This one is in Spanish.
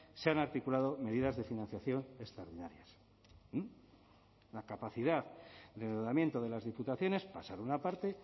se han articulado medidas de financiación extraordinarias la capacidad de endeudamiento de las diputaciones pasar una parte